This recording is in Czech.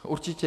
Určitě.